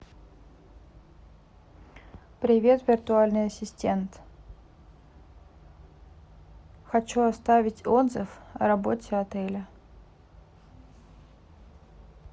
привет виртуальный ассистент хочу оставить отзыв о работе отеля